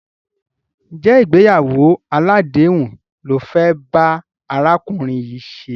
Ǹjẹ́ ìgbéyàwó aládèéhùn lo fẹ́ bá arákùnrin yìí ṣe?